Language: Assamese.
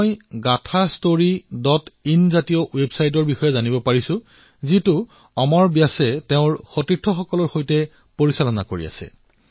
মই gaathastoryinৰ দৰে ৱেবছাইটৰ বিষয়ে জানিবলৈ পালো যাক অমৰ ব্যাসে অন্য লোকৰ সৈতে চলাই আছে